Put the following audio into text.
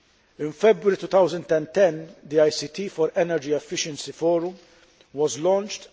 In February 2010 the ICT for Energy Efficiency Forum was launched.